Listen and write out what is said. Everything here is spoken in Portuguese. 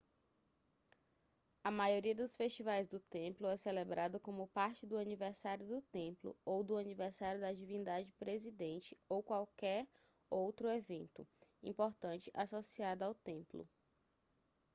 a maioria dos festivais do templo é celebrada como parte do aniversário do templo ou do aniversário da divindade presidente ou qualquer outro evento importante associado ao templo